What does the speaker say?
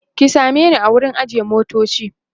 e ki same ni a wurin ajiye motoci